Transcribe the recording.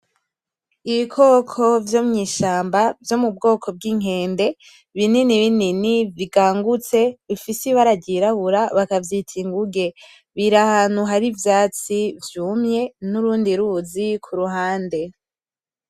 Ibikoko vy'omwishamba vyo mubwoko bwinkende binini binini bigangutse bifise ibara ry'irabura bakavyita inguge biri ahantu hari ivyatsi vyumye nurundi ruzi kuruhande.